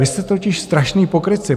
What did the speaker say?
Vy jste totiž strašní pokrytci.